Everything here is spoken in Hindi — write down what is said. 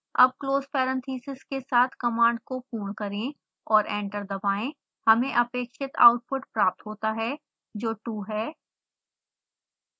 अब close parenthesis के साथ कमांड को पूर्ण करें और एंटर दबाएं हमें अपेक्षित आउटपुट प्राप्त होता है जो 2 है